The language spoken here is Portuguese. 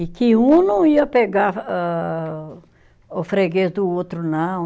E que um não ia pegar âh, o freguês do outro, não.